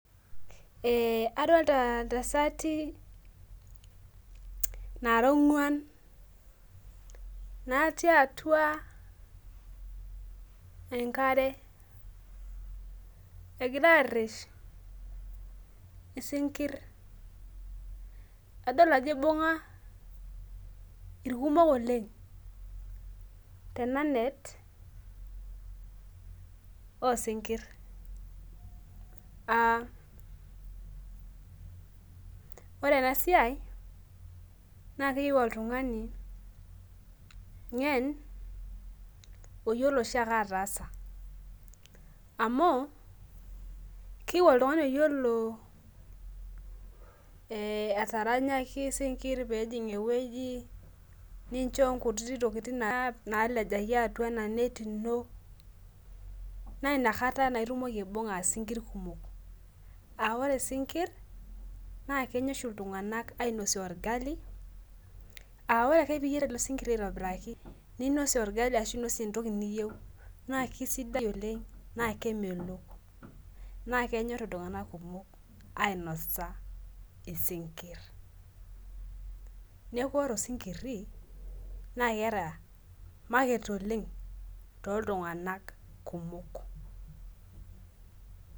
Ee adolta ntasati nairowua nati atua enkare egira aresh isinkir adik ajo ibunga irkumok oleng tenanet osinkir aa ore enasiai nakeyieu oltungani ngen oyiolo atasa amu keyieu oltungani oyiolo ataranyaki sinkir pejing ewoi nisho nkuti tokitin nalejaki atua inanetibino na inakata itumoki aibumga sinkir kumok aore sinkir na kenya oshi ltunganak ainosie orgali a ore oshi ninosie orgali ashu inosie entoki niyieu na kenyor iltunganak kumok ainosa isinkir neaku ore osinkiri na keeta maket oleng toltunganak kumok